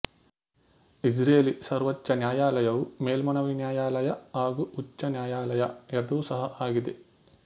Israeli ಸರ್ವೋಚ್ಚ ನ್ಯಾಯಾಲಯವು ಮೇಲ್ಮನವಿ ನ್ಯಾಯಾಲಯ ಹಾಗು ಉಚ್ಚ ನ್ಯಾಯಾಲಯ ಎರಡೂ ಸಹ ಆಗಿದೆ